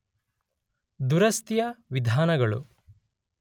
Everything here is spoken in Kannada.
ದುರಸ್ತಿಯ ವಿಧಾನಗಳು